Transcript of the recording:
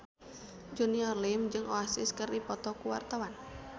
Junior Liem jeung Oasis keur dipoto ku wartawan